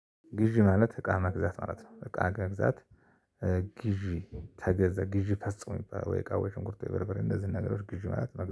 ግዢ ማለት እቃ መግዛት ማለት ነው እቃ መግዛት ግዢ ተገዛ ግዢ ፈጸሙ የሚባለው ወይ እቃ፣ ወይ ሽንኩርት፣ ወይ በርበሬ እነዚህ ነገሮች ግዢ ማለት ነው።